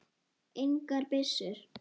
Engar byssur.